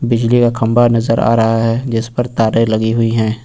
बिजली का खंबा नजर आ रहा है जिसपर तारे लगी हुई है।